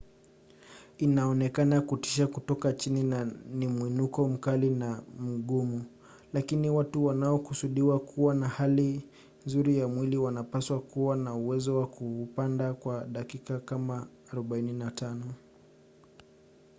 inaonekana kutisha kutoka chini na ni mwinuko mkali na mgumu lakini watu wanaokusudiwa kuwa na hali nzuri ya mwili wanapaswa kuwa na uwezo wa kuupanda kwa dakika kama 45